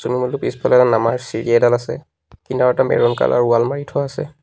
পুল টোৰ পিছফালে এডাল নমাৰ চিৰি এডাল আছে কিনাৰতে মেৰুন কালাৰ ৱাল মাৰি থোৱা আছে।